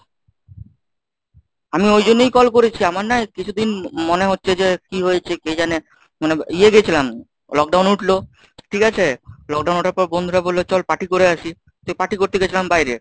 আমি ওই জন্যই call করেছি, আমার না হয় কিছুদিন মনে হচ্ছে যে কি হয়েছে কে জানে মানে ইয়ে গেছিলাম, lockdown উঠলো ঠিক আছে? lockdown উঠার পর বন্ধুরা বলল চল party করে আসি তো party করতে গেছিলাম বাইরে।